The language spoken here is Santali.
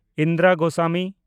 ᱤᱱᱫᱤᱨᱟ ᱜᱳᱥᱟᱢᱤ